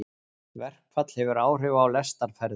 Verkfall hefur áhrif á lestarferðir